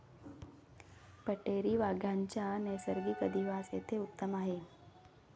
पट्टेरी वाघांचा नैसर्गिक अधिवास येथे उत्तम आहे.